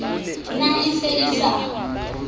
ne e se e sa